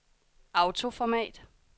autoformat